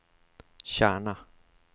Kärna